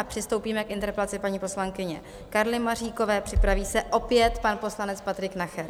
A přistoupíme k interpelaci paní poslankyně Karly Maříkové, připraví se opět pan poslanec Patrik Nacher.